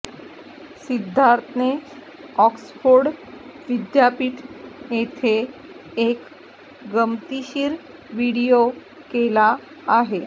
सिद्धार्थने Oxford विद्यापीठ येथे एक गमतीशीर व्हिडीओ केला आहे